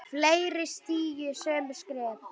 Fleiri stígi sömu skref?